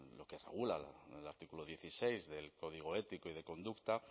lo que regula el artículo dieciséis del código ético y de conducta